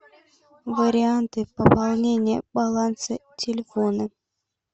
варианты пополнения баланса телефона